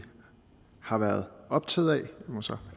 har været optaget af jeg må så